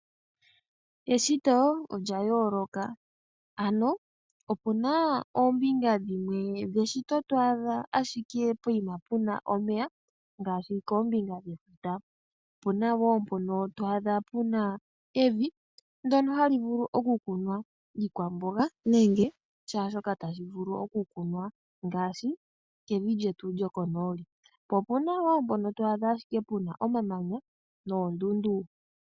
Eshito olya yooloka ano opuna ashike oombinga dhimwe dheshito hodhi adha ashike puna omeya ngaashi koombinga dhefuta. Ope na mpono to adha puna evi ndyono hali vulu okukunwa iikwamboga ngaashi kevi lyetu lyokonooli. Pombinga yimwe oto adha po owala oondundu nomamanya.